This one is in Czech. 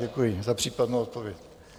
Děkuji za případnou odpověď.